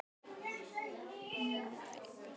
Sem sagt, Elín raðar svona: Unnsteinn Ragna Sigurður